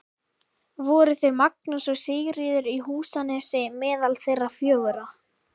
Voru þau Magnús og Sigríður í Húsanesi meðal þeirra fjögurra.